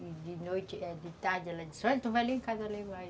E de noite, de tarde, ela disse, olha, tu vai ali em casa levar.